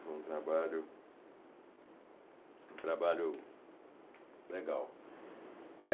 Foi um trabalho trabalho legal.